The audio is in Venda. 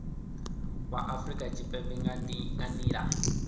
wa afurika tshipembe nga nila